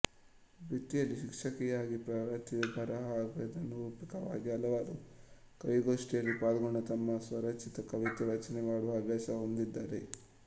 ವೃತ್ತಿಯಲ್ಲಿ ಶಿಕ್ಷಕಿಯಾಗಿ ಪ್ರವೃತ್ತಿಯಲ್ಲಿ ಬರಹಗಾರ್ತಿನಿರೂಪಕಿಯಾಗಿ ಹಲವಾರು ಕವೀಗೋಷ್ಠಿಯಲ್ಲಿ ಪಾಲ್ಗೊಂಡು ತಮ್ಮ ಸ್ವರಚಿತ ಕವಿತೆ ವಾಚನಮಾಡುವ ಹವ್ಯಾಸ ಹೊಂದಿದ್ದಾರೆ